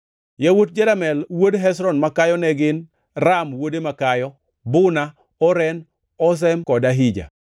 Yawuot Jeramel wuod Hezron makayo ne gin: Ram wuode makayo, Buna, Oren, Ozem kod Ahija.